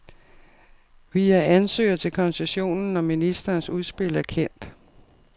Vi er ansøger til koncessionen, når ministerens udspil er kendt.